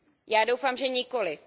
Já doufám, že nikoliv.